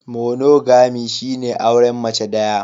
Monogamy shine auren mace daya.